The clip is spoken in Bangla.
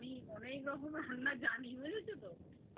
আমি অনেক রকমের রান্না জানি বুঝেছো তো